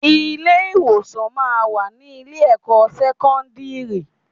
Ilé ìwòsàn máa ń wà ní ilé ẹ̀kọ́ sẹ́kọ́ńdírì.